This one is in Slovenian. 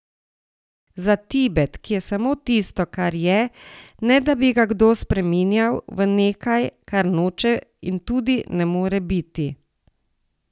Za Tibet, ki je samo tisto, kar je, ne da bi ga kdo spreminjal v nekaj, kar noče in tudi ne more biti.